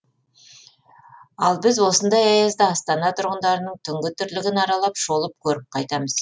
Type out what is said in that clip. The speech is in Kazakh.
ал біз осындай аязда астана тұрғындарының түнгі тірлігін аралап шолып көріп қайтамыз